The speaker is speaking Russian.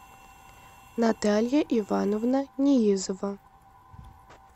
наталья ивановна ниизова